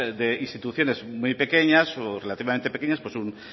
de instituciones muy pequeñas o relativamente pequeñas pues un